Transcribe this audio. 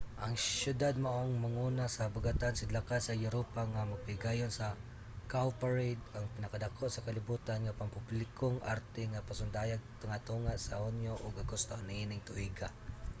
ang siyudad mao ang manguna sa habagatan-sidlakan sa europa nga magpahigayon sa cowparade ang pinakadako sa kalibutan nga pampublikong arte nga pasundayag tunga-tunga sa hunyo ug agosto niining tuiga